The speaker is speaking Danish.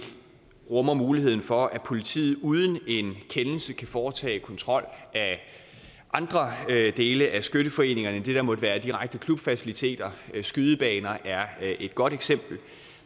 rummer muligheden for at politiet uden en kendelse kan foretage kontrol af andre dele af skytteforeningerne end det der måtte være direkte klubfaciliteter skydebaner er et godt eksempel